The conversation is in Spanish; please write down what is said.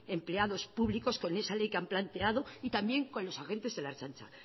empleados públicos con esa ley que han planteado y también con los agentes de la ertzaintza